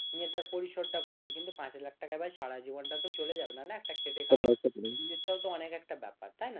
নিয়ে তার পরিসর টা করবে কিন্তু পাঁচ লাখ টাকায় ভাই তো আর সারা জীবন টা চলে যাবে না না একটা খেটে খাওয়া সেটাও তো অনেক একটা ব্যাপার তাই না